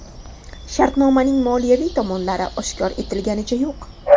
Shartnomaning moliyaviy tomonlari oshkor etliganicha yo‘q.